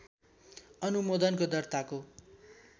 अनुमोदनको दर्ताको